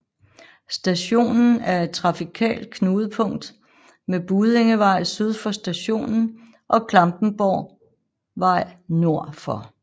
Stationen er et trafikalt knudepunkt med Buddingevej syd for stationen og Klampenborgvej nord for